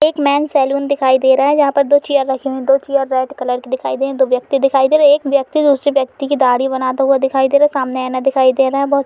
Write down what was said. एक men's salon दिखाई दे रहा है जहाँ पर दो चीयर रखी हुई। दो चीयर रेड कलर की दिखाय दे दो व्यक्ति दिखाय दे रहे है और एक व्यक्ति दूसरी व्यक्ति की दाढ़ी बनाते दिखाय दे रहा है सामने आईना दिखाई दे रहा है बोहोत --